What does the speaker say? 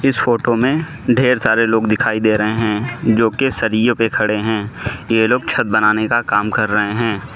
इस फोटो में ढेर सारे लोग दिखाई दे रहें हैं जो की सरियों पे खड़े हैं ये लोग छत बनाने का काम कर रहे हैं।